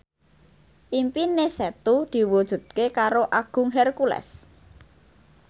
impine Setu diwujudke karo Agung Hercules